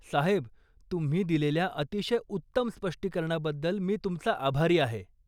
साहेब, तुम्ही दिलेल्या अतिशय उत्तम स्पष्टीकरणाबद्दल मी तुमचा आभारी आहे.